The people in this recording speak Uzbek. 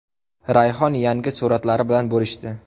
Rayhon yangi suratlari bilan bo‘lishdi.